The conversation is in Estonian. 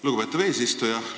Lugupeetav eesistuja!